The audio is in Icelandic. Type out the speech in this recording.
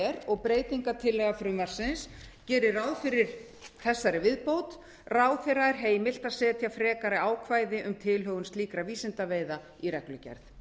og breytingartillaga frumvarpsins gerir ráð fyrir þessari viðbót ráðherra er heimilt að setja frekari ákvæði um tilhögun slíkra vísindaveiða í reglugerð